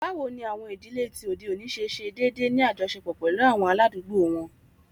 Bawo ni awọn idile ti ode oni ṣe deede ni ajọṣepọ pẹlu awọn aladugbo wọn?